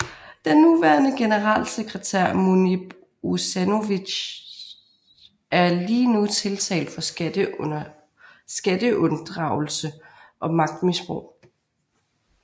Den nuværende generalsekretær Munib Ušanović er lige nu tiltalt for skatteunddragelse og magtmisbrug